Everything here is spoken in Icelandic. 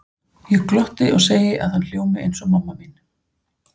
Ég glotti og segi að hann hljómi eins og mamma mín.